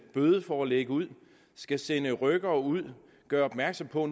bødeforelæg ud skal sende rykkere ud gøre opmærksom på